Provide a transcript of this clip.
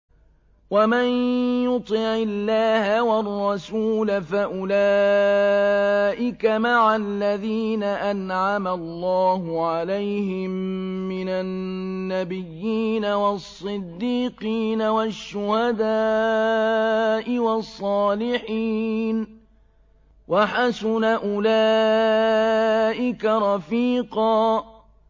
وَمَن يُطِعِ اللَّهَ وَالرَّسُولَ فَأُولَٰئِكَ مَعَ الَّذِينَ أَنْعَمَ اللَّهُ عَلَيْهِم مِّنَ النَّبِيِّينَ وَالصِّدِّيقِينَ وَالشُّهَدَاءِ وَالصَّالِحِينَ ۚ وَحَسُنَ أُولَٰئِكَ رَفِيقًا